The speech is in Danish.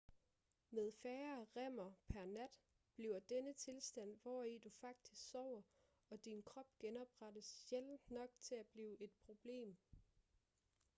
med færre rem'er pr nat bliver denne tilstand hvori du faktisk sover og din krop genoprettes sjældent nok til at blive et problem